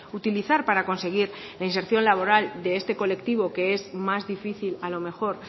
utilizar para conseguir la inserción laboral de este colectivo que es más difícil a lo mejor